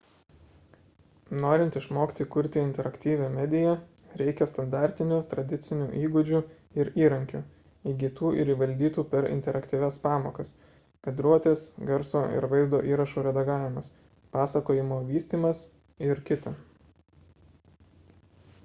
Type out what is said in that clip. norint išmokti kurti interaktyvią mediją reikia standartinių tradicinių įgūdžių ir įrankių įgytų ir įvaldytų per interaktyvias pamokas kadruotės garso ir vaizdo įrašų redagavimas pasakojimo vystymas ir kt.